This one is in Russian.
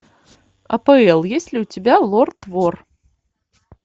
апл есть ли у тебя лорд вор